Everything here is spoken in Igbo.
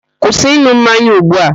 Kwụsị ịn̄ụ mmanya ugbu a!